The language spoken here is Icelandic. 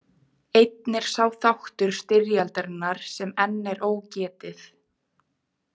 Einn er sá þáttur styrjaldarinnar sem enn er ógetið.